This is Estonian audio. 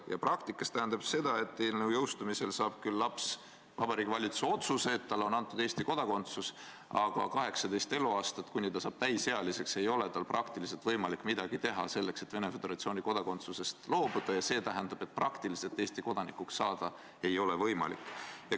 Ja praktikas tähendab see seda, et eelnõu jõustumisel saab laps küll Vabariigi Valitsuse otsuse, et talle on antud Eesti kodakondsus, aga 18 eluaastat, kuni laps saab täisealiseks, ei ole tal praktiliselt võimalik midagi teha selleks, et Venemaa Föderatsiooni kodakondsusest loobuda, ja see tähendab, et praktiliselt ei ole tal Eesti kodanikuks saada võimalik.